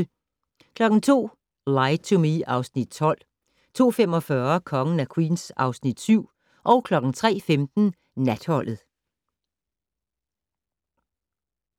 02:00: Lie to Me (Afs. 12) 02:45: Kongen af Queens (Afs. 7) 03:15: Natholdet